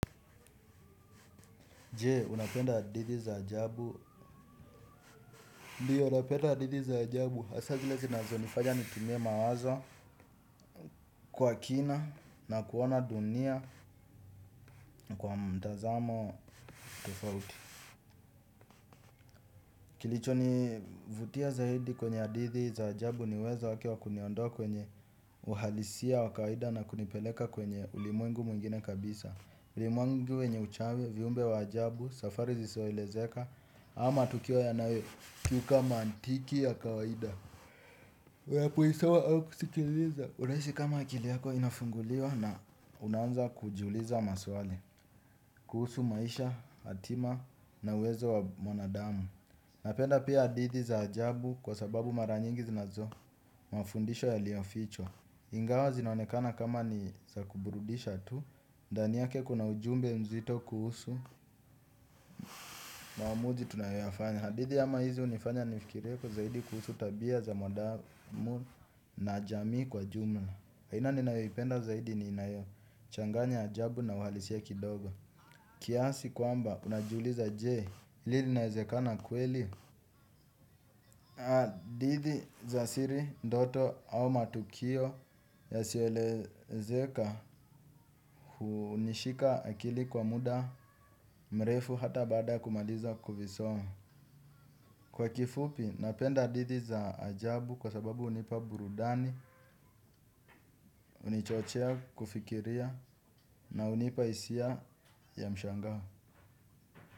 Je, unapenda hadithi za ajabu. Ndio, napenda hadithi za ajabu hasa zile zinazonifanya nitumie mawazo. Kwa kina na kuona dunia kwa mtazamo tofauti. Kilichonivutia zaidi kwenye hadithi za ajabu ni uwezo wake wa kuniondoa kwenye uhalisia wa kawaida na kunipeleka kwenye ulimwengu mwingine kabisa. Ulimwengu wenye uchawi, viumbe wa ajabu safari zisizoelezeka ama tukio yanayokiuka mantiki ya kawaida ya kuisoma au kusikiliza unahisi kama akili yako inafunguliwa na unanza kujiuliza maswali kuhusu maisha, hatima na wezo wa mwanadamu. Napenda pia hadithi za ajabu kwa sababu mara nyingi zinazo mafundisho yaliyofichwa. Ingawa zinaonekana kama ni za kuburudisha tu. Ndani yake kuna ujumbe mzito kuhusu maamuzi tunayoyafanya. Hadithi kama hizi hunifanya nifikirieko zaidi kuhusu tabia za mwanadamu. Na jamii kwa jumla aina ninayoipenda zaidi ni inayo changanya ajabu na uhalisia kidogo. Kiasi kwamba unajuliza je. Hili linaezekana kweli hadithi za siri, ndoto au matukio Yasiyoelezeka. Hunishika akili kwa muda mrefu. Hata baada ya kumaliza kuvisoma. Kwa kifupi napenda hadithi za ajabu. Kwa sababu hunipa burudani. Hunichochea kufikiria. Na hunipa hisia ya mshangao.